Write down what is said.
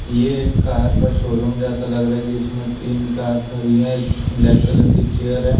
ये एक कार का शोरूम जैसा लग रहा है जिसमें तीन कार खड़ी है एक ब्लैक कलर की चेयर है।